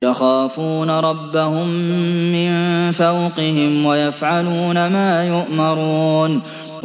يَخَافُونَ رَبَّهُم مِّن فَوْقِهِمْ وَيَفْعَلُونَ مَا يُؤْمَرُونَ ۩